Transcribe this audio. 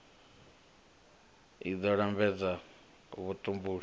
fti i ḓo lambedza vhutumbuli